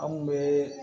An kun bɛ